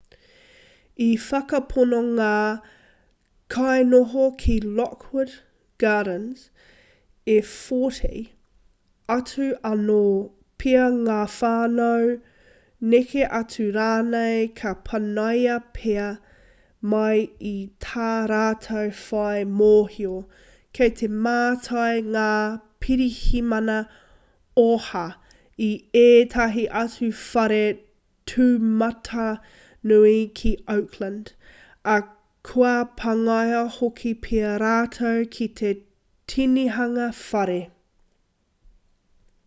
i whakapono ngā kainoho ki lockwood gardens e 40 atu anō pea ngā whānau neke atu rānei ka panaia pea mai i tā rātou whai mōhio kei te mātai ngā pirihimana oha i ētahi atu whare tūmatanui ki oakland ā kua pāngia hoki pea rātou ki te tinihanga whare